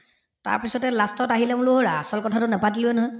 তাৰপিছতে last ত আহিলে আচল কথাটো নেপাতিলোয়ে নহয়